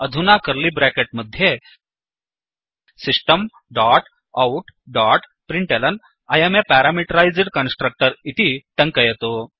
अधुना curly bracket मध्ये system dot out dot println I um a parameterised constructor इति टङ्कयतु